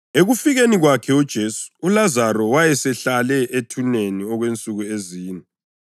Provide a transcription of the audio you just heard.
Ekufikeni kwakhe uJesu uLazaro wayesehlale ethuneni okwensuku ezine.